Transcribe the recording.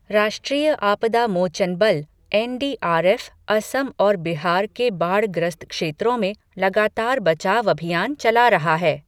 राष्ट्रीय आपदा मोचन बल, N D R F Assam और बिहार के बाढ़ ग्रस्त क्षेत्रों में लगातार बचाव अभियान चला रहा है।